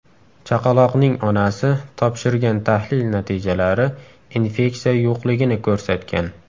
Chaqaloqning onasi topshirgan tahlil natijalari infeksiya yo‘qligini ko‘rsatgan.